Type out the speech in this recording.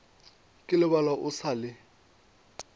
ka lebala o sa le